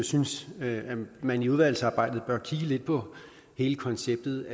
synes at man i udvalgsarbejdet bør kigge lidt på hele konceptet